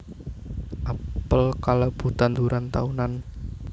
Apel kalebu tanduran taunan